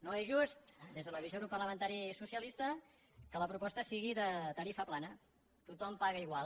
no és just des de la visió del grup parlamentari socialista que la proposta sigui de tarifa plana tothom paga igual